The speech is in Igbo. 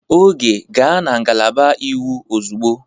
Oge, gaa na ngalaba iwu ozugbo!